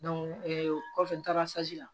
o kɔfɛ n taara la